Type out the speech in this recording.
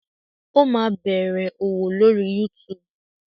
Ó máa bẹ̀rẹ̀ òwò lórí YouTube.